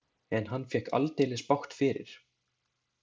En hann fékk aldeilis bágt fyrir.